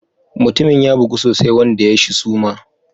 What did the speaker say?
Mutumin ya bugu sosai wanda ya shi suma.